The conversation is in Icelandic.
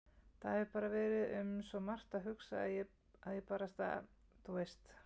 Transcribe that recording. Það hefur bara verið um svo margt að hugsa að ég barasta. þú veist.